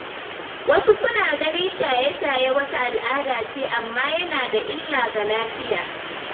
Wasu suna ganin shaye-shaye wata al’ada ce, amma yana da illa ga lafiya.